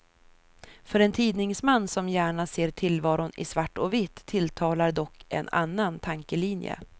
För en tidningsman som gärna ser tillvaron i svart och vitt tilltalar dock en annan tankelinje.